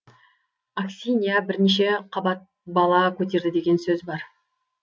аксинья бірнеше қабат бала көтерді деген сөз бар